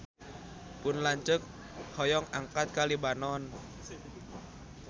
Pun lanceuk hoyong angkat ka Libanon